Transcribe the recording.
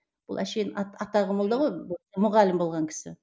бұл әшейін атағы молда ғой мұғалім болған кісі